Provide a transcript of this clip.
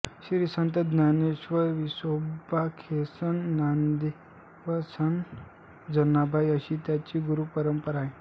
श्री संत ज्ञानदेवविसोबा खेचरसंत नामदेवसंत जनाबाई अशी त्यांची गुरुपरंपरा आहे